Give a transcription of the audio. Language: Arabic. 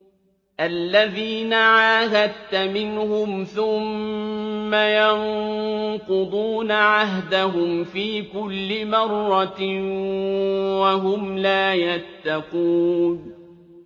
الَّذِينَ عَاهَدتَّ مِنْهُمْ ثُمَّ يَنقُضُونَ عَهْدَهُمْ فِي كُلِّ مَرَّةٍ وَهُمْ لَا يَتَّقُونَ